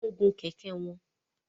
Wọ́n ń gun kẹ̀kẹ́ wọn